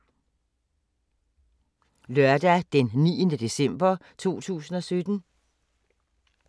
Lørdag d. 9. december 2017